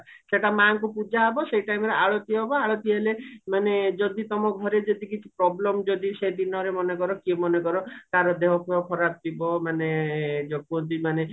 ସେଟା ମାଙ୍କୁ ପୂଜା ହବ ସେଇ timeରେ ଆଳତି ହବ ଆଳତି ହେଲେ ମାନେ ଯଦି ତମ ଘରେ ଯଦି କିଛି problem ଯଦି ସେ ଦିନରେ ମନେ କର କିଏ ମନେ କର କାହାର ଦେହ ଫେହ ଖରାପ ଥିବ ମାନେ ଯୋଉ କୁହନ୍ତି ମାନେ